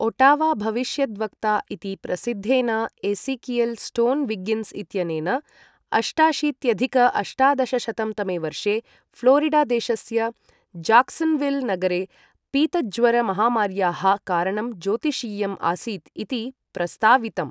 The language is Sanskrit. ओटावा भविष्यद्वक्ता इति प्रसिद्धेन एसीकियल् स्टोन् विग्गिन्स् इत्यनेन, अष्टाशीत्यधिक अष्टादशशतं तमे वर्षे फ्लोरिडा देशस्य जाक्सन्विल् नगरे पीतज्वर महामार्याः कारणं ज्योतिषीयम् आसीत् इति प्रस्तावितम्।